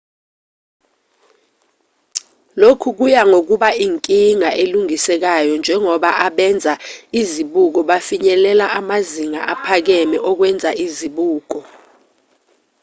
lokhu kuya ngokuba inkinga elungisekayo njengoba abenza izibuko befinyelela amazinga aphakeme okwenza izibuko